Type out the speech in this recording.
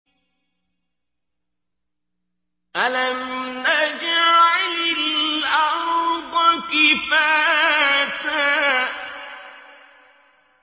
أَلَمْ نَجْعَلِ الْأَرْضَ كِفَاتًا